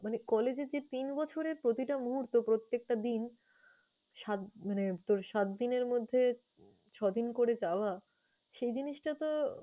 মানে college এ যে তিন বছরের প্রতিটা মুহূর্ত, প্রত্যেকটা দিন সাত~ মানে তোর সাতদিনের মধ্যে ছদিন করে যাওয়া সে জিনিসটা তো